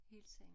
Hils hende